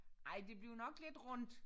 Ej det bliver nok lidt rundt